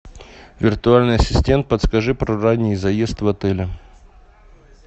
виртуальный ассистент расскажи про ранний заезд в отеле